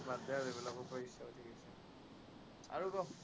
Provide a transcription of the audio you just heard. আৰু ক।